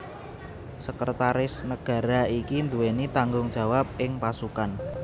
Sekretaris Negara iki nduweni tanggung jawab ing pasukan